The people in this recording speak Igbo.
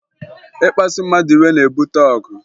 Ịkpasụ mmadụ iwe na-ebute ọgụ